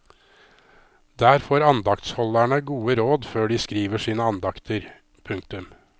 Der får andaktsholderne gode råd før de skriver sine andakter. punktum